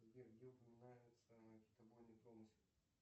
сбер где упоминается китобойный промысел